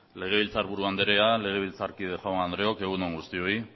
legebiltzarburu anderea legebiltzarkide jaun andreok egun on guztioi